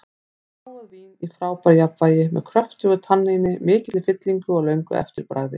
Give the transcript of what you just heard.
Fágað vín í frábæru jafnvægi, með kröftugu tanníni, mikilli fyllingu og löngu eftirbragði.